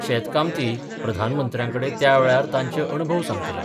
शेतकामती प्रधानमंत्र्यांकडे त्यावेळार तांचे अणभव सांगतले.